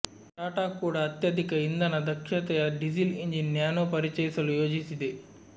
ಟಾಟಾ ಕೂಡ ಅತ್ಯಧಿಕ ಇಂಧನ ದಕ್ಷತೆಯ ಡೀಸೆಲ್ ಎಂಜಿನ್ ನ್ಯಾನೊ ಪರಿಚಯಿಸಲು ಯೋಜಿಸಿದೆ